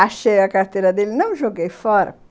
Achei a carteira dele, não joguei fora.